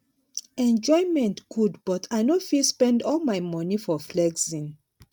enjoyment good but i no fit spend all my money for flexing